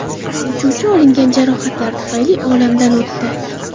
Uchuvchi olingan jarohatlar tufayli olamdan o‘tdi.